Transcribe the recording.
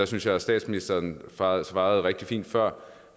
synes jeg at statsministeren svarede svarede rigtig fint før